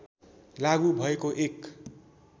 लागू भएको एक